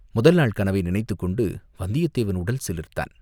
முதல்நாள் கனவை நினைத்துக் கொண்டு வந்தியத்தேவன் உடல் சிலிர்த்தான்.